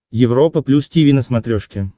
европа плюс тиви на смотрешке